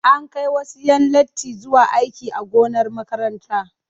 An kai wasu 'yan latti zuwa aiki a gonar makarantar.